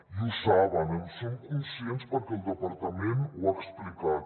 i ho saben en són conscients perquè el departament ho ha explicat